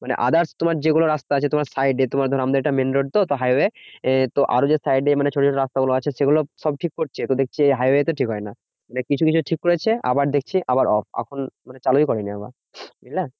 মানে others তোমার যেগুলো রাস্তা আছে তোমার side এ, তোমার ধরো আমাদের এটা main road তো? highway এ তো আরো যে side এ মানে ছোট ছোট রাস্তাগুলো আছে সেগুলো সব ঠিক করছে। তো দেখছি ওই highway টাই ঠিক হয় না। মানে কিছু কিছু ঠিক করেছে আবার দেখছি আবার off এখন মানে চালুই করেনি আবার, বুঝলে?